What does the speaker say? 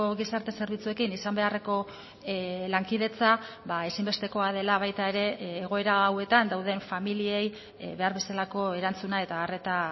gizarte zerbitzuekin izan beharreko lankidetza ezinbestekoa dela baita ere egoera hauetan dauden familiei behar bezalako erantzuna eta arreta